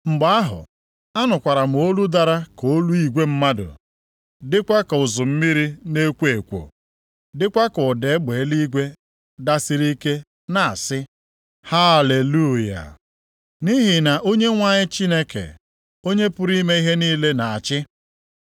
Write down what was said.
Mgbe ahụ, anụkwara m olu dara ka olu igwe mmadụ dịkwa ka ụzụ mmiri na-ekwo ekwo, dịkwa ka ụda egbe eluigwe dasiri ike na-asị, “Haleluya! Nʼihi na Onyenwe anyị Chineke, Onye pụrụ ime ihe niile na-achị.